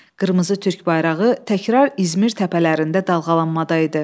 Qırmızı türk bayrağı təkrar İzmir təpələrində dalğalanadaydı.